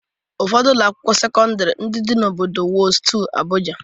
Ụfọdụ Ụlọ akwụkwọ sekọndrị ndị dị n'obodo Wuse 2, Abụja